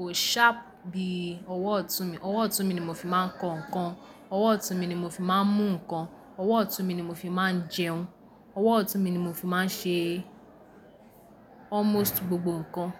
o sharp bí i ọwọ́ ọ̀tún mi. Ọwọ́ ọ̀tún mi ni mo fi máa ń ko nkan, ọwọ́ ọ̀tún mi ni mo fi má a ń mú nkan, ọwọ́ ọ̀tún mi ni mo fi má a ń jẹun, ọwọ́ ọ̀tún mi ni mo fi má a ń ṣe almost gbogbo nkan.